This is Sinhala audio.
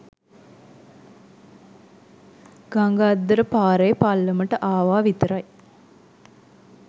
ගඟ අද්දර පාරේ පල්ලමට ආවා විතරයි